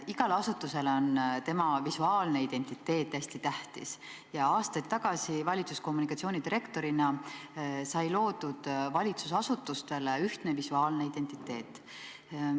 Igale asutusele on tema visuaalne identiteet hästi tähtis ja aastaid tagasi, kui ma olin valitsuse kommunikatsioonidirektor, sai valitsusasutustele loodud ühtne visuaalne identiteet.